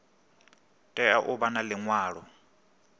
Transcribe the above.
tea u vha na liṅwalo